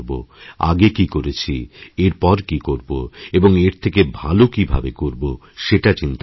আগে কী করেছি এরপর কী করব এবং এর থেকে ভালো কীভাবে করব সেটা চিন্তাকরতে হবে